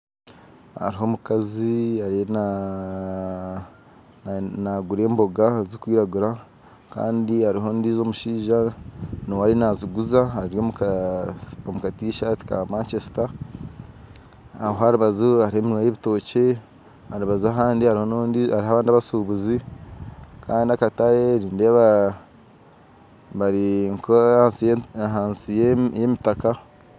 Haruho omukazi ariyo nagura emboga zikwiragura Kandi haruho ondijo omushaija nuwe ariyo naziguza ari omuka t-shirt Ka Manchester aho aharubaju haruho eminwa y'ebitookye arubaju ahandi haruho abandi abashubuzi Kandi akatare nindeeba barinka ahansi yemitaka.